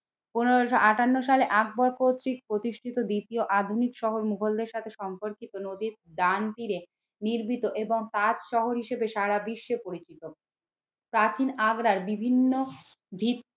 পনেরোশো আঠান্ন সালে আকবর কর্তৃক প্রতিষ্ঠিত দ্বিতীয় আধুনিক শহর মুঘলদের সাথে সম্পর্কিত নদীর ডান তীরে নির্মিত এবং তাজ শহর হিসেবে সারা বিশ্বে পরিচিত। প্রাচীন আগ্রার বিভিন্ন ভিত